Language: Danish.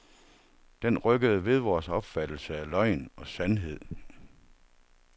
Den rykkede ved vores opfattelse af løgn og sandhed.